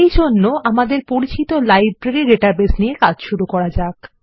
এই জন্য আমাদের পরিচিত লাইব্রেরী ডাটাবেস নিয়ে কাজ শুরু করা যাক